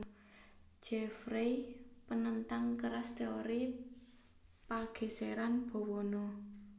Jeffreys panentang keras téori pagèsèran bawana